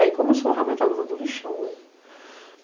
Aí começou realmente a luta do lixão, né?